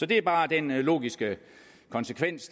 det er bare den logiske konsekvens